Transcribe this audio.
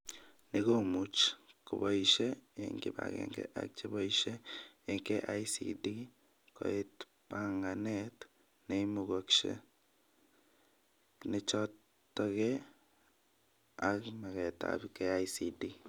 Ni komuch koboishe eng kibagenge ak cheboishe eng KICD koetbanganet neimugashek nechotekee ak magetab KICD